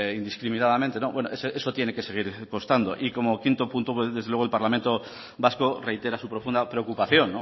indiscriminadamente no eso tiene que seguir constando y como quinto punto desde luego el parlamento vasco reitera su profunda preocupación